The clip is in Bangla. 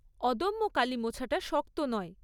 অদম্য কালি মোছাটা শক্ত নয়।